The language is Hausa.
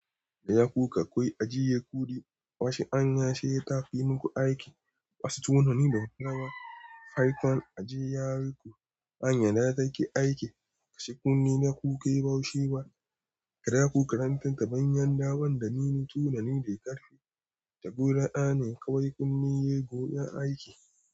Kada ku kakau ajiye kuɗi wasu anya sai ta fi muku aiki. Wasu tunani da hurawa. Haiƙon ajiye yari ku anya da take aiki. Kashe kunne na ku kai ba shi ba. Kada ku karanta tabanyan daban da nini tunani da ƙarfi. Tabbura'a ne kawai kunne yayi gonan aiki.